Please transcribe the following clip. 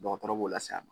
Dɔgɔtɔrɔ b'o lase a ma